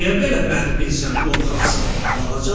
Niyə belə bədbinsən, qorxaqsan, balaca balıq?